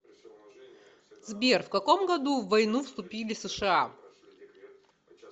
сбер в каком году в войну вступили сша